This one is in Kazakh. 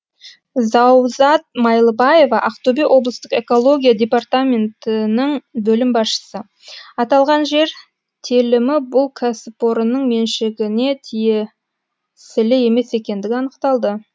заузат майлыбаева ақтөбе облыстық экология департаментінің бөлім басшысы аталған жер телімі бұл кәсіпорынның меншігіне тие сілі емес екендігі анықталды